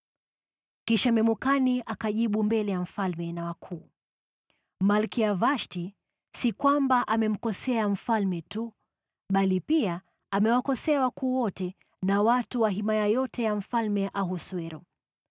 Kisha Memukani akajibu mbele ya mfalme na wakuu, “Malkia Vashti si kwamba amemkosea mfalme tu bali pia amewakosea wakuu wote na watu wa himaya yote ya Mfalme Ahasuero.